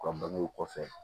U ka bangew kɔfɛ